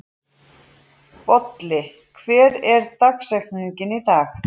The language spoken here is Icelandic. Bolli, hver er dagsetningin í dag?